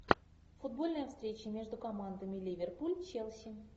футбольная встреча между командами ливерпуль челси